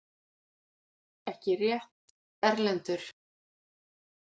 Ekki rétt, Erlendur?!